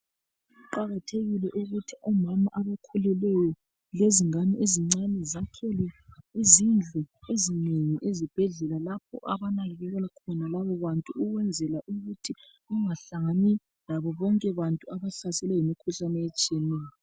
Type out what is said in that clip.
Kuqakathekile kakhulu omama abakhulelweyo lezingane ezincane zakhelwe izindlu ezinengi ezibhedlela lapho abanakakelwa khona labobantu ukwenzela ukuthi kungahlani labo bonke abantu abahlaselwe yimikhuhlane ehlukeneyo